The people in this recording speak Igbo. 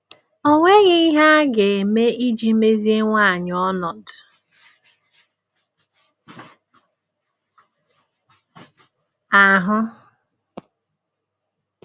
Ọ nweghị ihe a ga-eme iji meziwanye ọnọdụ ahụ?